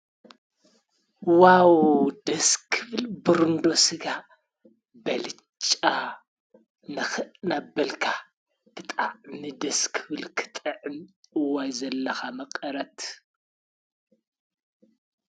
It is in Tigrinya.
ዋው ደስ ክብል ብሩንዶ ስጋ ብኣልጫ ንኽእ እናበልካ ብጣዕሚ ደስ ክብል ክጥዕም ዋይ ዘለካ መቐረት!